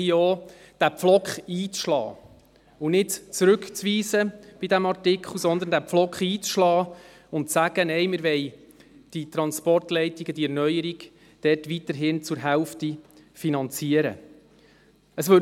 Deshalb bitte ich Sie, hier ebenfalls einen Pflock einzuschlagen und zu fordern, dass die Erneuerung von Transportleitungen weiterhin zur Hälfte finanziert wird.